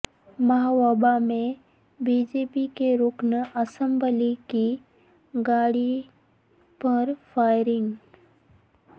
مہوبہ میں B J P کے رکن اسمبلی کی گاڑی پر فائرنگ